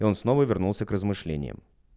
и он снова вернулся к размышлениям